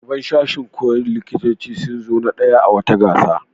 Ɗaliban sashin koyon likitanci sun zo na ɗaya a wata gasa.